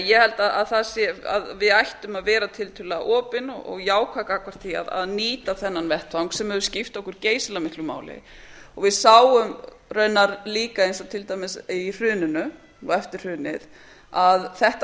ég held að við ættum að vera tiltölulega opin og jákvæð gagnvart því að nýta þennan vettvang sem hefur skipt okkur geysilega miklu máli og við sáum raunar líka eins og til dæmis í hruninu og eftir hrunið að þetta